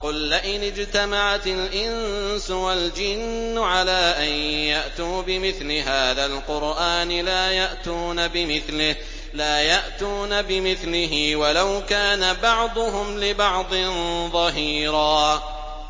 قُل لَّئِنِ اجْتَمَعَتِ الْإِنسُ وَالْجِنُّ عَلَىٰ أَن يَأْتُوا بِمِثْلِ هَٰذَا الْقُرْآنِ لَا يَأْتُونَ بِمِثْلِهِ وَلَوْ كَانَ بَعْضُهُمْ لِبَعْضٍ ظَهِيرًا